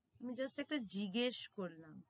আমি just একটা জিজ্ঞেস করলাম